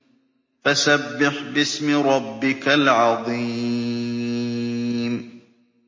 فَسَبِّحْ بِاسْمِ رَبِّكَ الْعَظِيمِ